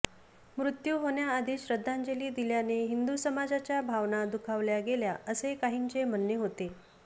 मृत्यू होण्याआधीच श्रद्धांजली दिल्याने हिंदू समाजाच्या भावना दुखावल्या गेल्या असे काहींचे म्हणने होते